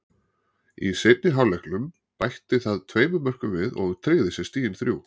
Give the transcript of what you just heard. Í seinni hálfleiknum bætti það tveimur mörkum við og tryggði sér stigin þrjú.